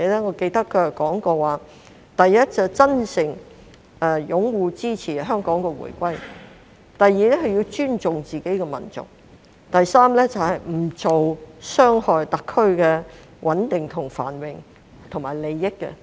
我記得他說過，第一，是真誠擁護支持香港回歸；第二，要尊重自己的民族；第三，不做傷害特區的穩定繁榮及利益的事。